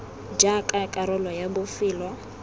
r jaaka karolo ya bofelo